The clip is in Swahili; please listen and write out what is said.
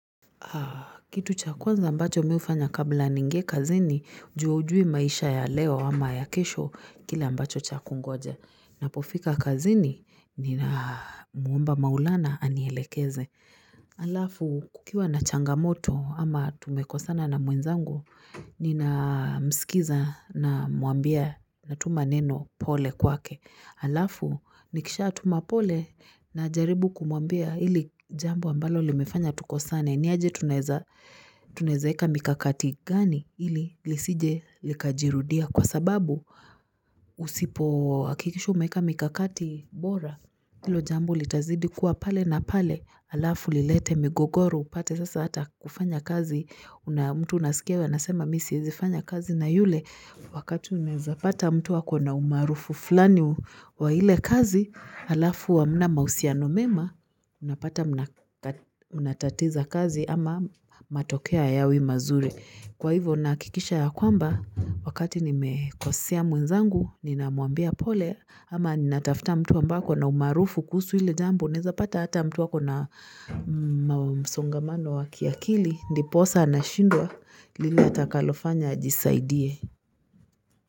Kitu cha kwanza ambacho miufanya kabla ningie kazini, juu haujui maisha ya leo ama ya kesho kile ambacho cha kungoja. Napofika kazini ni na muomba maulana anielekeze. Alafu kukiwa na changamoto ama tumekosana na mwenzangu, nina msikiza na mwambia na tuma neno pole kwa ke. Alafu nikisha tuma pole na jaribu kumwambia ili jambo ambalo li mefanya tuko sane. Niaje tunaeza eka mikakati gani ili lisije likajirudia kwa sababu usipo akikisha umeeka mikakati bora. Ilo jambo litazidi kuwa pale na pale alafu lilete migogoro upate sasa ata kufanya kazi. Mtu unasikia anasema misiezi fanya kazi na yule wakati unaeza pata mtu akona umaarufu fulani wa ile kazi. Alafu hamna mausia no mema unapata unatatiza kazi ama matokeo haya wi mazuri kwa hivyo nahakikisha ya kwamba wakati ni mekosea mwenzangu nina mwambia pole ama nina tafta mtu amabaye ako na umaarufu kuhusu hile jambo, unaeza pata hata mtu akona msongamano wakiakili, ndi posa na shindwa lile atakalofanya ajisaidie.